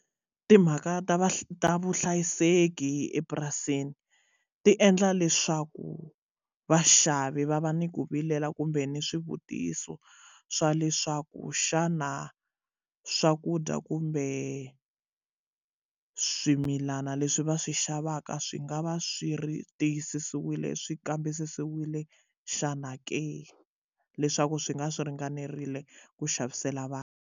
Timhaka ta ta vuhlayiseki epurasini ti endla leswaku vaxavi va va ni ku vilela kumbe ni swivutiso swa leswaku xana swakudya kumbe swimilana leswi va swi xavaka swi nga va swi ri tiyisisiwile swi kambisisiwile xana ke leswaku swi nga swi ringanerile ku xavisela vanhu.